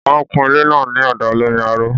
Wọ́n kun ilé náà ní ọ̀dà olómi aró